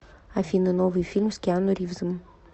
афина новый фильм с киану ривзом